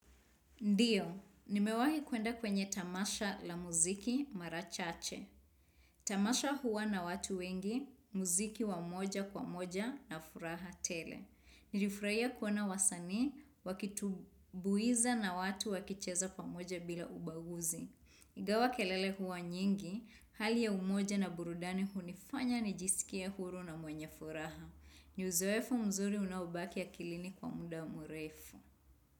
Ndio, nimewahi kuenda kwenye tamasha la muziki mara chache. Tamasha huwa na watu wengi, muziki wa moja kwa moja na furaha tele. Nilifurahia kuona wasanii wakitumbuiza na watu wakicheza kwa moja bila ubaguzi. Ingawa kelele huwa nyingi, hali ya umoja na burudani hunifanya nijisikie huru na mwenye furaha. Ni uzoefu mzuri unaobaki akilini kwa muda mrefu.